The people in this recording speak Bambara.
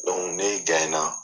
Donku n'e gaɲɛna